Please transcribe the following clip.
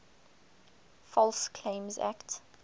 false claims act